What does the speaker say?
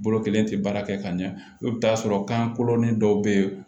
Bolo kelen tɛ baara kɛ ka ɲɛ i bɛ t'a sɔrɔ kan kolon ni dɔw bɛ yen